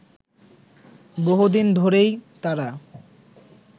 বহুদিন ধরেই তারা